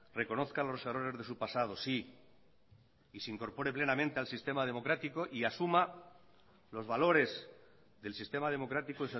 reconozca los errores de su pasado sí y se incorpore plenamente al sistema democrático y asuma los valores del sistema democrático